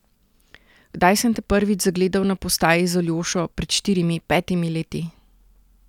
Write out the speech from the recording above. Kdaj sem te prvič zagledal na postaji z Aljošo, pred štirimi, petimi leti?